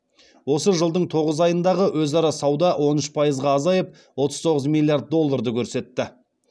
осы жылдың тоғыз айындағы өзара сауда он үш пайызға азайып отыз тоғыз миллиард долларды көрсетті